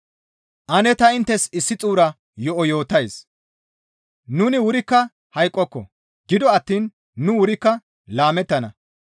Ane ta inttes issi xuura yo7o yootays; nuni wurikka hayqqoko; gido attiin nu wurikka laamettana.